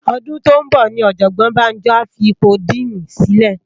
Òdún tó n bò ni òjòbòn Banjo á fi ipó dìní silè